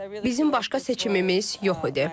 Bizim başqa seçimimiz yox idi.